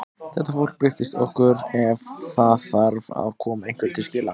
Þetta fólk birtist okkur ef það þarf að koma einhverju til skila.